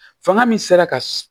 Fanga min sera ka